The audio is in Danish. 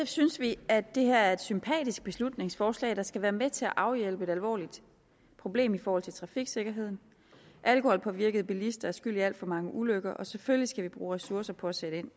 synes vi at det her er et sympatisk beslutningsforslag der skal være med til at afhjælpe et alvorligt problem i forhold til trafiksikkerheden alkoholpåvirkede bilister er skyld i alt for mange ulykker og selvfølgelig skal vi bruge ressourcer på at sætte ind